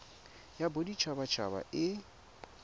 ya bodit habat haba e